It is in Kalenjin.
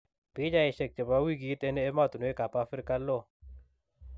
Pichaisiek chebo wikit en emotunwek ab Afrika loo